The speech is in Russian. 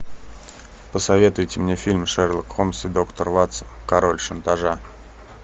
посоветуйте мне фильм шерлок холмс и доктор ватсон король шантажа